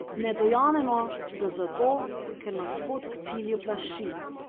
Ne dojamemo, da zato, ker nas pot k cilju plaši.